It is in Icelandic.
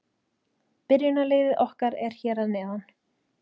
Byrjunarliðið okkar er hér að neðan.